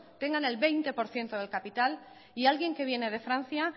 tengan el veinte por ciento del capital y alguien que viene de francia